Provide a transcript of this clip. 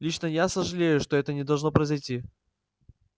лично я очень сожалею что это должно произойти